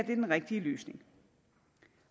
er den rigtige løsning